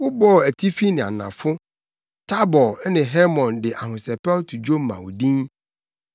Wobɔɔ atifi ne anafo. Tabor ne Hermon de ahosɛpɛw to dwom ma wo din.